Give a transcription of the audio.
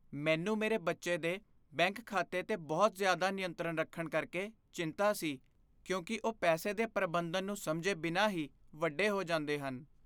ਮੈਨੂੰ ਮੇਰੇ ਬੱਚੇ ਦੇ ਬੈਂਕ ਖਾਤੇ 'ਤੇ ਬਹੁਤ ਜ਼ਿਆਦਾ ਨਿਯੰਤਰਣ ਰੱਖਣ ਕਰਕੇ ਚਿੰਤਾ ਸੀ ਕਿਉਂਕਿ ਉਹ ਪੈਸੇ ਦੇ ਪ੍ਰਬੰਧਨ ਨੂੰ ਸਮਝੇ ਬਿਨਾਂ ਹੀ ਵੱਡੇ ਹੋ ਜਾਂਦੇ ਹਨ।